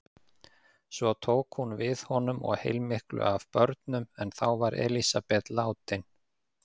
Svo tók hún við honum og heilmiklu af börnum en þá var Elísabet látin.